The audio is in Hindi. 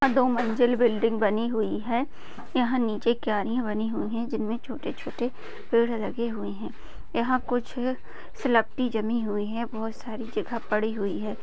यहाँ दो मंजिल बिल्डिंग बनी हुई है यह नीचे क्यारियां बनी हुई हैं जिनमे छोटे छोटे पेड़ लगे हुए हैं यहाँ कुछ जमी हुई है बहुत सारी जगह पड़ी हुई है।